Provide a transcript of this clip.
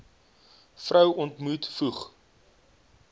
vrou ontmoet voeg